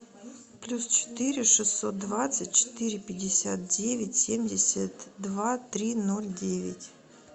плюс четыре шестьсот двадцать четыре пятьдесят девять семьдесят два три ноль девять